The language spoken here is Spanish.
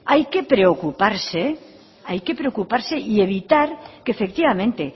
hay que preocuparse y evitar que efectivamente